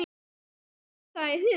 Hverjum datt það í hug?!